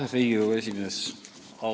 Lugupeetud Riigikogu esimees!